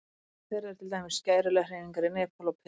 Meðal þeirra eru til dæmis skæruliðahreyfingar í Nepal og Perú.